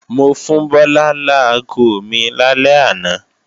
Mo fún Bọ́lá láago mi lálẹ́ àná